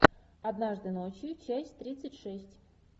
однажды ночью часть тридцать шесть